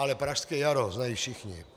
Ale Pražské jaro znají všichni.